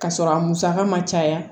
Ka sɔrɔ a musaka ma caya